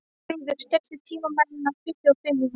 Þrúður, stilltu tímamælinn á tuttugu og fimm mínútur.